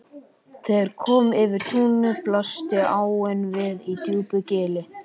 Þegar kom yfir túnið blasti áin við í djúpu gili.